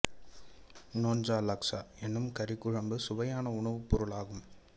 nyonya laksa எனும் கறிக் குழம்பும் சுவையான உணவுப் பொருளாகும்